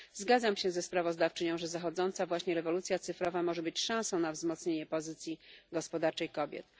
Zgadzam się ze sprawozdawczynią, że zachodząca właśnie rewolucja cyfrowa może być szansą na wzmocnienie pozycji gospodarczej kobiet.